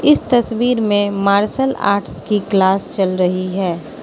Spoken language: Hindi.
इस तस्वीर में मार्शल आर्ट्स की क्लास चल रही है।